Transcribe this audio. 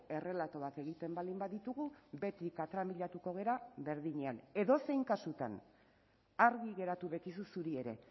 errelatoak egiten baldin baditugu beti katramilatuko gara berdinean edozein kasutan argi geratu bekizu zuri ere